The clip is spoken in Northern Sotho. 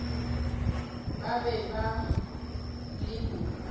ba be ba le mo